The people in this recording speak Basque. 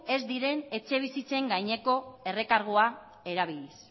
ez diren etxebizitzen gaineko errekargua erabiliz